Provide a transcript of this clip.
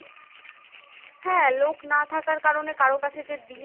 লোক না থাকার কারণে কারো কাছে যে দিয়ে